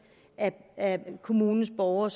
af kommunens borgere